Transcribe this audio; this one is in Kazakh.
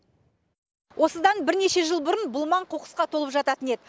осыдан бірнеше жыл бұрын бұл маң қоқысқа толып жататын еді